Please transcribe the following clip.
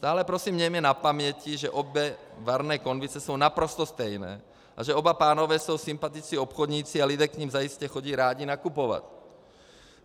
Stále prosím mějme na paměti, že obě varné konvice jsou naprosto stejné a že oba pánové jsou sympatičtí obchodníci a lidé k nim zajisté chodí rádi nakupovat.